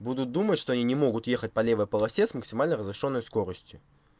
буду думать что они не могут ехать по левой полосе с максимально разрешённой скоростью